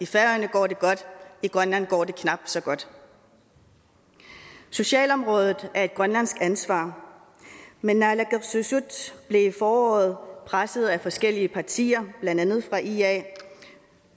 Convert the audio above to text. færøerne går det godt i grønland går det knap så godt socialområdet er grønlands ansvar men naalakkersuisut blev i foråret presset af forskellige partier blandt andet ia